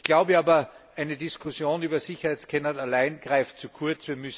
Ich glaube aber, eine Diskussion über Sicherheitsscanner allein greift zu kurz.